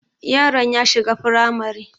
Yaron ya shiga firamare